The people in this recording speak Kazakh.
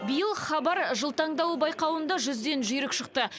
биыл хабар жыл таңдауы байқауында жүзден жүйрік шықты